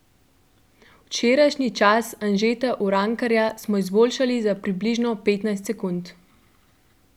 Včerajšnji čas Anžeta Urankarja smo izboljšali za približno petnajst sekund.